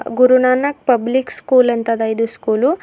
Guru Nanak public school ಅಂತದ ಇದು school.